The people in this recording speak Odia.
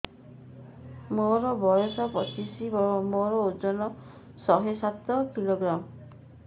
ମୋର ବୟସ ପଚିଶି ମୋର ଓଜନ ଶହେ ସାତ କିଲୋଗ୍ରାମ